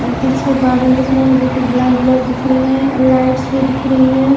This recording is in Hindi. और पीछे बादल दिख रहे हैं जो ब्लैक ब्लैक दिख रही हैं और लाइट्स भी दिख रही हैं।